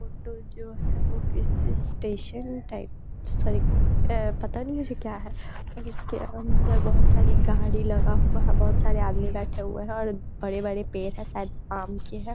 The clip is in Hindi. फोटो जो है वो किसी स्टेशन टाइप सॉरी एह पता नहीं मुझे क्या है पर उसके अंदर बहुत सारी गाड़ी लगा हुआ है बहुत सारे आदमी बैठे हुए हैं और बड़े-बड़े पेड़ हैं शायद आम के हैं।